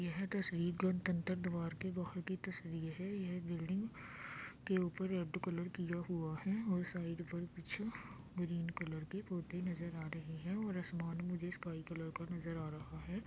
यह तस्वीर गणतंत्र द्वार के बाहर की तस्वीर है। यह बिल्डिंग के ऊपर रेड कलर किया हुआ है और साइड पर पीछे ग्रीन कलर भी पोती नजर आ रहै हैं और आसमान मुझे स्काई कलर का नजर आ रहा है।